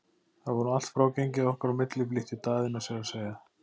Það var nú allt frágengið okkar á milli, flýtti Daðína sér að segja.